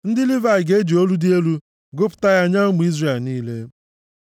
Ndị Livayị ga-eji olu dị elu gụpụta ya nye ụmụ Izrel niile,